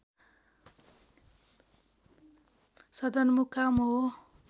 सदरमुकाम हो